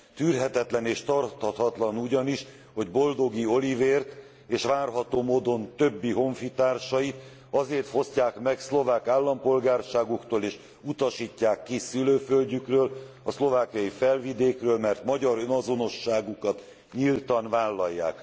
Tűrhetetlen és tarthatatlan ugyanis, hogy Boldogi Olivért, és várható módon több honfitársát azért fosztják meg szlovák állampolgárságuktól és utasítják ki szülőföldjükről, a szlovákiai Felvidékről, mert magyar önazonosságukat nyíltan vállalják.